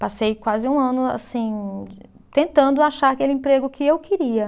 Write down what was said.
Passei quase um ano assim, tentando achar aquele emprego que eu queria.